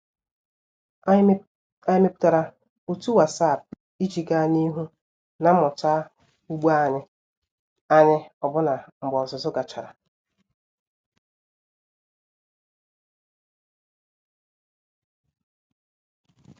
Anyị mepụtara otu WhatsApp iji gaa n'ihu na mmụta ugbo anyị anyị ọbụna mgbe ọzụzụ gachara.